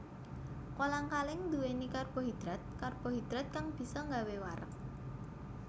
Kolang kaling nduwèni karbohidratKarbohidrat kang bisa nggawé wareg